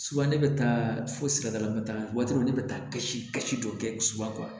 ne bɛ taa fo sirada la waati dɔ la ne bɛ taa kasi dɔ kɛ subakron